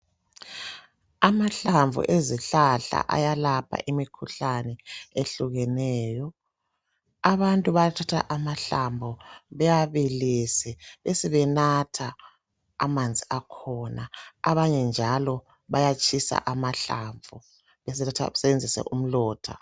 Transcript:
Amahlamvu ezihlahla ayalapha imikhuhlane ehlukeneyo. Abantu bayathatha amahlamvu bewabilise besebenatha amanzi akhona banye njalo bayatshisa amahlamvu besebesebenzisa umlotha.